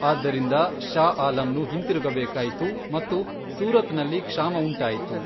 ಆದ್ದರಿಂದ, ಷಾ ಆಲಂನು ಹಿಂತಿರುಗಬೇಕಾಯಿತು ಮತ್ತು ಸೂರತ್ನಲ್ಲಿ ಕ್ಷಾಮ ಉಂಟಾಯಿತು.